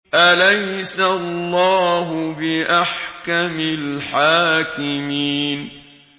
أَلَيْسَ اللَّهُ بِأَحْكَمِ الْحَاكِمِينَ